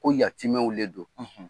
Ko yatimɛw le don.